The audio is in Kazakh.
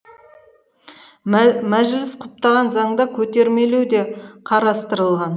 мәжіліс құптаған заңда көтермелеу де қарастырылған